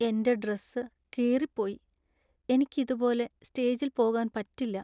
എന്‍റെ ഡ്രെസ് കീറിപ്പോയി. എനിക്ക് ഇതുപോലെ സ്റ്റേജിൽ പോകാൻ പറ്റില്ല .